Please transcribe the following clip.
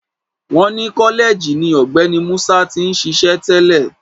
Wọ́n ni kọ́lẹ́ẹ̀jì ni Ọ̀gbẹ́ni Musa ti ń ṣíṣe tẹ́lẹ̀